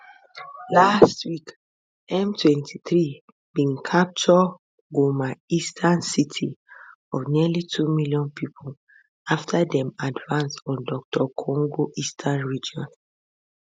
last week m23 bin capture goma eastern city of nearly two million pipo after dem advance on dr congo eastern region